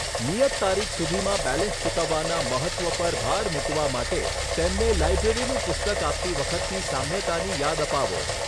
નિયત તારીખ સુધીમાં બેલેન્સ ચૂકવવાના મહત્ત્વ પર ભાર મૂકવા માટે તેમને લાઇબ્રેરીનું પુસ્તક આપતી વખતની સામ્યતાની યાદ અપાવો.